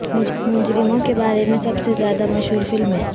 مجرموں کے بارے میں سب سے زیادہ مشہور فلمیں